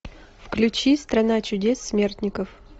включи страна чудес смертников